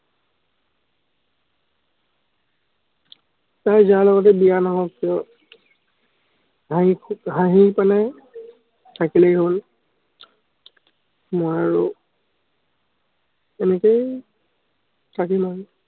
তাইৰ যাৰ লগতে বিয়া নহওক কিয়, হাঁহি হাঁহি পিনে থাকিলেই হ'ল। মই আৰু এনেকেই থাকিম আৰু।